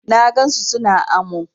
Na gan su su na amo.